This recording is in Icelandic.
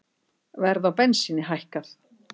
Verð á bensíni hækkað